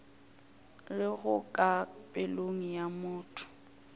lego ka pelong ya motho